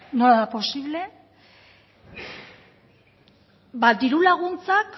nola da posible ba diru laguntzak